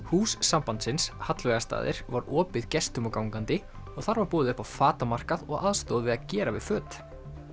hús sambandsins var opið gestum og gangandi og þar var boðið upp á og aðstoð við að gera við föt